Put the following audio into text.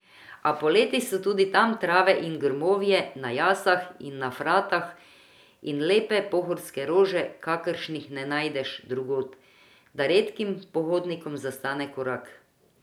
A poleti so tudi tam trave in grmovje na jasah in na fratah in lepe pohorske rože, kakršnih ne najdeš drugod, da redkim pohodnikom zastane korak.